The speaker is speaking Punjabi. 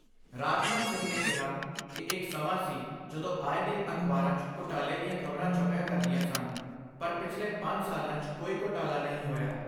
ਰਾਜਨਾਥ ਸਿੰਘ ਨੇ ਕਿਹਾ ਕਿ ਇਕ ਸਮਾਂ ਸੀ ਜਦੋਂ ਆਏ ਦਿਨ ਅਖਬਾਰਾਂ 'ਚ ਘੋਟਾਲੇ ਦੀਆਂ ਖ਼ਬਰਾਂ ਛਪਿਆ ਕਰਦੀਆਂ ਸਨ, ਪਰ ਪਿਛਲੇ ਪੰਜ ਸਾਲਾਂ 'ਚ ਕੋਈ ਘੋਟਾਲਾ ਨਹੀਂ ਹੋਇਆ।